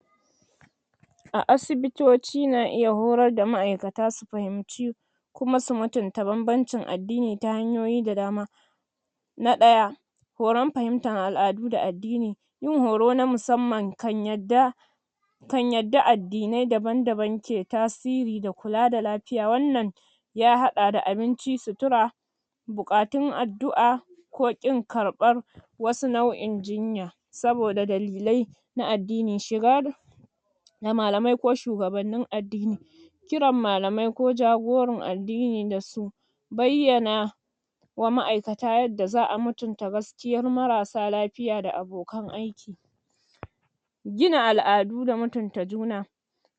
? A asibitoci na iya horar da ma'aikata su fahimci,? kuma su fahimci banbancin addani ta yanyoyi da dama.? Na ɗaya.? Horan fahimtar al'adu da addini. Yin horo na musamman kan yadda,? kan yadda addinai daban-daban ke tasiri da kula lafiya. Wannan,? ya haɗa da abinci, sutura,? bukatun addu'a, ko ƙin karɓar wasu nau'in jinya? wasu nau'in jinya, saboda dalilai na addini. Shigar? da malamai ko shugabannin addani.? Kiran malamai ko jagoran addini dasu. Bayyana,? wa ma'aikata yadda za a mutunta gaskiyar marasa lafiya da abokan aiki.? Gina al'adu da mutunta juna.?